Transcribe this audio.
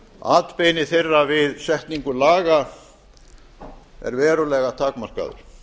atbeini þeirra við setningu laga er verulega takmarkaður